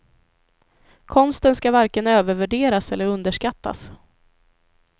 Konsten skall varken övervärderas eller underskattas.